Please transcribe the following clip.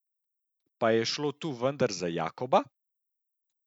Pa je šlo tu vendar za Jakoba!